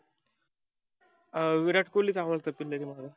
अं विराट कोल्हीच आवडतो